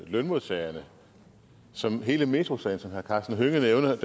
lønmodtagerne som hele metrosagen var som herre karsten hønge nævnede